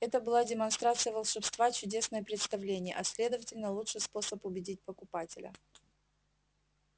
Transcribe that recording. это была демонстрация волшебства чудесное представление а следовательно лучший способ убедить покупателя